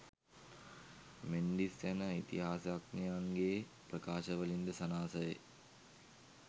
මෙන්ඩිස් යන ඉතිහාසඥයන්ගේ ප්‍රකාශවලින් ද සනාථ වේ.